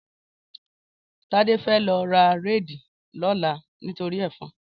Tade fè lò rá réidí lòlá nitóri èfòn